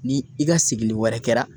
Ni i ka segili wɛrɛ kɛra